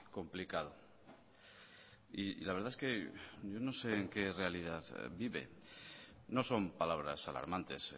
complicado y la verdad es que yo no sé en qué realidad vive no son palabras alarmantes